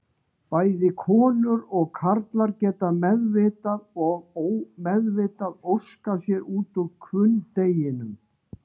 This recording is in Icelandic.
Bæði konur og karlar geta meðvitað og ómeðvitað óskað sér út úr hvunndeginum.